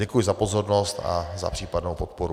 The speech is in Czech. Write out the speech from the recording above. Děkuji za pozornost a za případnou podporu.